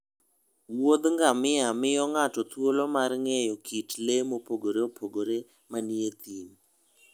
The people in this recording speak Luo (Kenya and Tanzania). Wuoth ngamia miyo ng'ato thuolo mar ng'eyo kit le mopogore opogore manie thim.